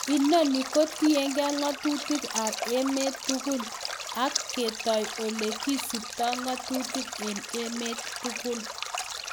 Inoni kotienge ng'atutik ab emet tugul ak ketoi ole kisipto ng'atutik en emet tugul."